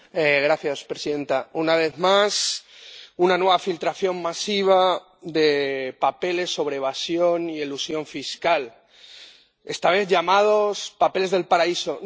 Señora presidenta, una vez más, una nueva filtración masiva de documentos sobre evasión y elusión fiscal, esta vez llamados papeles del paraíso.